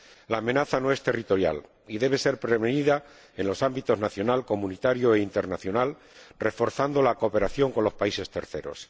La amenaza no es territorial y debe ser prevenida en los ámbitos nacional, comunitario e internacional, reforzando la cooperación con los países terceros.